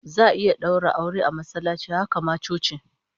Za'a iya daura aure a masallaci, haka ma coci